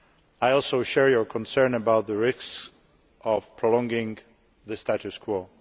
I also share your concern about the risk of prolonging the status quo.